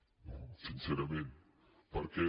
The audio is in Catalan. no sincerament perquè